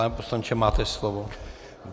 Pane poslanče, máte slovo.